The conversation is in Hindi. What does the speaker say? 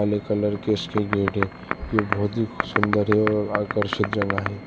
ब्लैक कलर के इसके गेट हैं यह बहुत ही सुंदर है और आकर्षित जगह है।